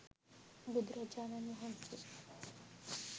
බුදුරජාණන් වහන්සේ